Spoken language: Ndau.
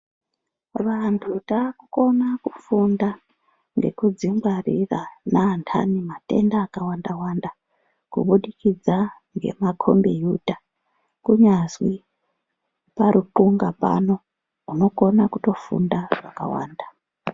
Vantu takukona kufunda nekudzingwarira neantani matenda akawanda wanda kubudikidza ngemakombiyuta kunyazwi paruthunga pano unokone kutofunda zvakawanda.